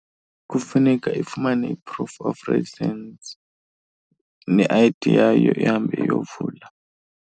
Kufuneka ifumane i-proof of residence ne-I_D yayo ihambe iyovula.